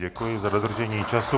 Děkuji za dodržení času.